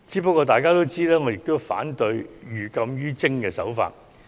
不過，眾所周知，我亦反對採取寓禁於徵的做法。